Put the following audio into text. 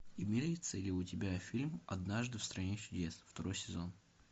имеется ли у тебя фильм однажды в стране чудес второй сезон